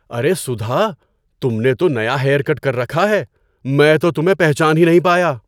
ارے سدھا، تم نے تو نیا ہیئر کٹ کر رکھا ہے! میں تو تمہیں پہچان ہی نہیں پایا!